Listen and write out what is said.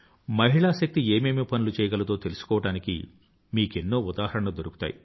మహిళా శక్తి ఏమేమి పనులు చెయ్యగలదో తెలుసుకోవడానికి మీకెన్నో ఉదాహరణలు దొరుకుతాయి